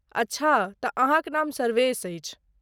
अच्छा तँ, अहाँक नाम सर्वेश अछि।